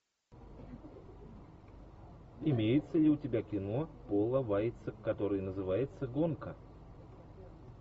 имеется ли у тебя кино пола вайца которое называется гонка